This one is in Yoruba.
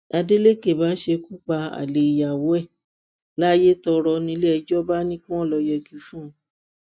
adeleke bá ṣèkúpa àlè ìyàwó ẹ̀ layétọrọ nílé ẹjọ́ bá ní kí wọn lọ yẹgi fún un